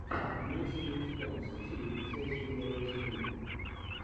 имеется ли у тебя мстители величайшие герои земли